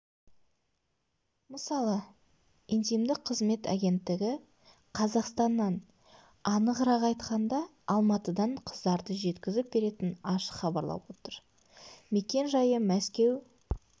мысалы интимдік қызмет агенттігі қазақстаннан анығырақ айтқанда алматыдан қыздарды жеткізіп беретінін ашық хабарлап отыр мекен-жайы мәскеу